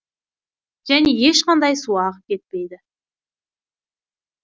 және ешқандай су ағып кетпейді